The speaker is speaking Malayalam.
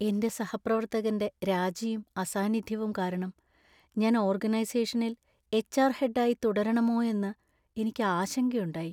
എന്‍റെ സഹപ്രവർത്തകന്‍റെ രാജിയും അസാന്നിധ്യവും കാരണം ഞാൻ ഓർഗനൈസേഷനിൽ എച്ച്.ആർ. ഹെഡായി തുടരണമോയോയെന്നു എനിക്ക് ആശങ്കയുണ്ടായി .